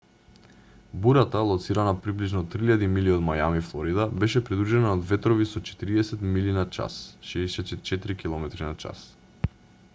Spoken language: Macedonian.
бурата лоцирана приближно 3,000 милји од мајами флорида беше придружена од ветрови со 40 mph 64 kph